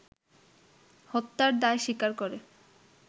হত্যার দায় স্বীকার করে